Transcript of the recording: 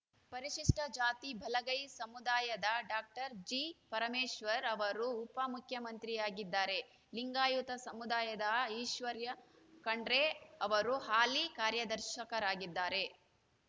ಪರಿಶಷ್ಟಜಾತಿ ಬಲಗೈ ಸಮುದಾಯದ ಡಾಕ್ಟರ್ ಜಿಪರಮೇಶ್ವರ್‌ ಅವರು ಉಪ ಮುಖ್ಯಮಂತ್ರಿಯಾಗಿದ್ದರೆ ಲಿಂಗಾಯತ ಸಮುದಾಯದ ಈಶ್ವರ್‌ ಖಂಡ್ರೆ ಅವರು ಹಾಲಿ ಕಾರ್ಯಾಧ್ಯಕ್ಷರಾಗಿದ್ದಾರೆ